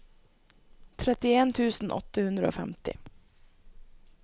trettien tusen åtte hundre og femti